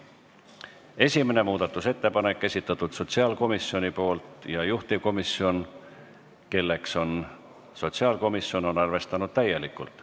Esimese muudatusettepaneku on esitanud sotsiaalkomisjon ja juhtivkomisjon, kelleks on sotsiaalkomisjon, on arvestanud seda täielikult.